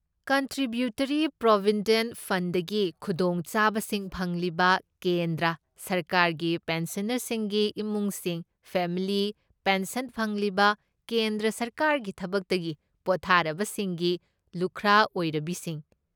Contributory provident ꯐꯟꯗꯒꯤ ꯈꯨꯗꯣꯡ ꯆꯥꯕꯁꯤꯡ ꯐꯪꯂꯤꯕ ꯀꯦꯟꯗ꯭ꯔ ꯁꯔꯀꯥꯔꯒꯤ ꯄꯦꯟꯁꯟꯅꯔꯁꯤꯡꯒꯤ ꯏꯃꯨꯡꯁꯤꯡ ꯐꯦꯃꯤꯂꯤ ꯄꯦꯟꯁꯟ ꯐꯪꯂꯤꯕ ꯀꯦꯟꯗ꯭ꯔ ꯁꯔꯀꯥꯔꯒꯤ ꯊꯕꯛꯇꯒꯤ ꯄꯣꯊꯥꯔꯕꯁꯤꯡꯒꯤ ꯂꯨꯈ꯭ꯔꯥ ꯑꯣꯏꯔꯕꯤꯁꯤꯡ꯫